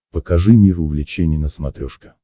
покажи мир увлечений на смотрешке